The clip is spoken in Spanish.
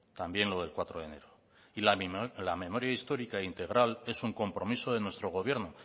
también lo del cuatro de enero y la memoria histórica integral es un compromiso de nuestro gobierno